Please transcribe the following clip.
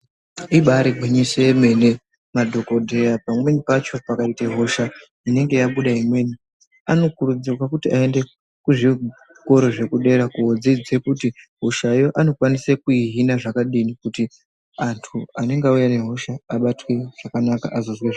Ibayiri gwinyiso yemene madhokodheya pamweni pacho pakaite hosha inenge yabuda imweni anokurudzirwa kuti ayende kuzvikora zvekudera kodzidze kuti hosha yoo anokwanisa kuyi Hina zvakadini kuti andu anenge auya nehosha abatwezvakanaka azozwe zvakanaka.